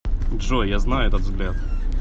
джой я знаю этот взгляд